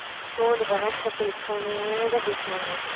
அச்சோ இந்த பெனாசிர் அக்கா headphone யே தான் பேசுவாங்க